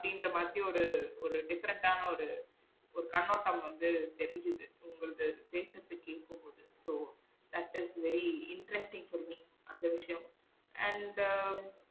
அப்டிங்குற மாதிரி ஒரு ஒரு different ஆன ஒரு ஒருகண்ணோட்டம் வந்து தெரிஞ்சிது உங்களுக்கு பேசுறது கேக்கும் போது so that is very interesting for me அந்த விஷியம் and